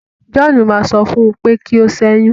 John ma sọ fún u pé kí o ṣẹyun.